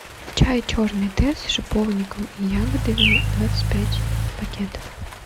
чай черный тесс с шиповником и ягодами двадцать пять пакетов